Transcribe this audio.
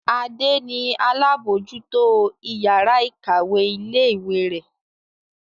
Adé ni alábòójútó ìyàrá-ìkàwé ilé-ìwé rẹ̀.